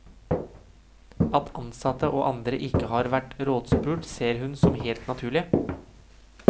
At ansatte og andre ikke har vært rådspurt ser hun som helt naturlig.